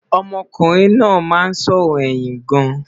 ọmọ kunrin nà má n sòrò ẹyìn gaan